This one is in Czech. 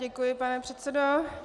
Děkuji, pane předsedo.